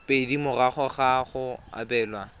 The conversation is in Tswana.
pedi morago ga go abelwa